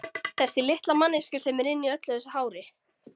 Þessi litla manneskja sem er inni í öllu þessu hári.